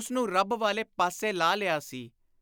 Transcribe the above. ਉਸਨੂੰ ਰੱਬ ਵਾਲੇ ਪਾਸੇ ਲਾ ਲਿਆ ਸੀ।